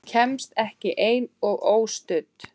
Kemst ekki ein og óstudd!